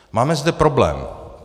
Máme zde problém.